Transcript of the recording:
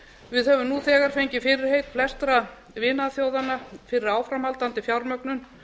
við höfum nú þegar fengið fyrirheit flestra vinaþjóðanna fyrir áframhaldandi fjármögnun